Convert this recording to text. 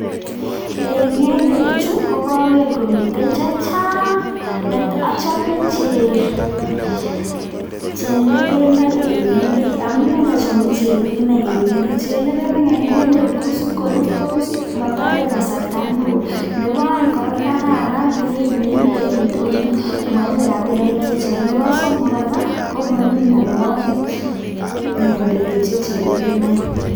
En ngedechu kokokeer komiten chechang, achome chelegenoik en ngendek, amune siochome chelegenoik en ngendek ko ngamun isikurtos motore kasarta neo, nebo oeng kora kokararan beinyii en indonyoo amoibe rabinik chechang. Nebo somok kora komoibu mionwogiik ngendek che chelegenoik